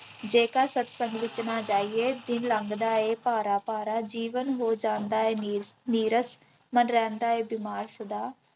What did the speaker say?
ਜੇਕਰ ਸਤਸੰਗ ਵਿੱਚ ਨਾ ਜਾਈਏ ਦਿਨ ਲੰਘਦਾ ਹੈ ਭਾਰਾ ਭਾਰਾ, ਜੀਵਨ ਹੋ ਜਾਂਦਾ ਹੈ ਨੀ ਨੀਰਸ ਮਨ ਰਹਿੰਦਾ ਹੈ ਬਿਮਾਰ ਸਦਾ।